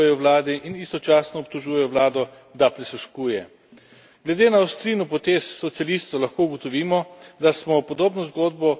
Glede na ostrino potez socialistov lahko ugotovimo, da smo podobno zgodbo že videli v primeru Bolgarije in Slovenije, pa tudi Madžarske.